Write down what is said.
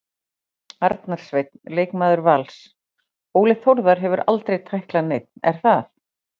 Arnar Sveinn leikmaður Vals Óli Þórðar hefur aldrei tæklað neinn er það?